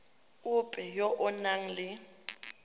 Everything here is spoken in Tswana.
ope yo o nang le